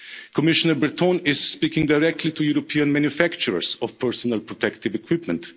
other. Commissioner Breton is speaking directly to European manufacturers of personal protective equipment.